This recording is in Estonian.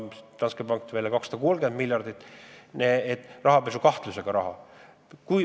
Danske pank tuli välja hinnanguga, et 230 miljardit on rahapesukahtlusega raha.